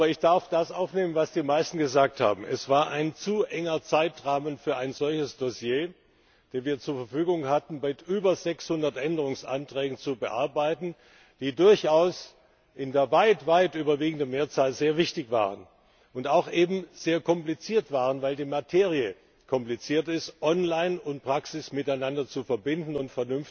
Ich darf das aufnehmen, was die meisten gesagt haben Es war ein zu enger Zeitrahmen für ein solches Dossier, den wir zur Verfügung hatten, um weit über 600 Änderungsanträgen zu bearbeiten, die durchaus in der weit, weit überwiegenden Mehrzahl sehr wichtig waren und auch eben sehr kompliziert waren, weil die Materie kompliziert ist Online und Praxis miteinander zu verbinden und